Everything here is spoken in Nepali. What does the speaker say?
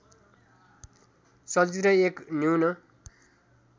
चलचित्र एक न्यून